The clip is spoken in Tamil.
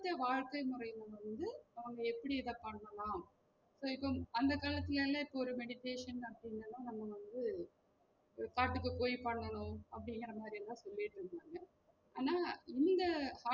இப்போதைய வாழ்கை முறைல வந்து அவங்க எப்டி இத பண்ணலாம் so இப்போம் அந்த காலத்துலல இப்போ ஒரு meditation வந்து ஒரு காட்டுக்கு போயி பண்ணும் அப்டிங்குற மாதிரிலாம் சொல்லிட்டு இருந்தாங்க ஆனா இந்த